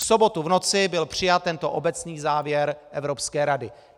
V sobotu v noci byl přijat tento obecný závěr Evropské rady.